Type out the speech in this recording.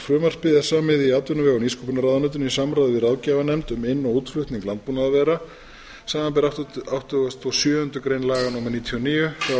frumvarpið er samið í atvinnuvega og nýsköpunarráðuneytinu í samráði við ráðgjafarnefnd um inn og útflutning landbúnaðarvara samanber áttugasta og sjöundu grein laga númer níutíu og níu